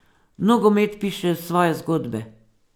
Nogomet piše svoje zgodbe.